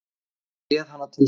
Hann réð hana til sín.